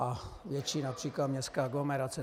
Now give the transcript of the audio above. A větší například městská aglomerace.